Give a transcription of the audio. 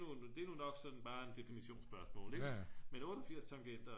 det er nu nok sådan bare et definitionsspørgsmål men 88 tangenter